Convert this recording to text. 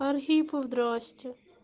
архипов здравствуйте